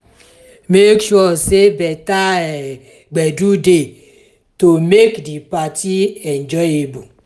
make sure say better um gbedu de to make di parti enjoyable